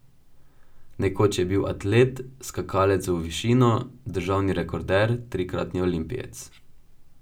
Nekoč je bil atlet, skakalec v višino, državni rekorder, trikratni olimpijec.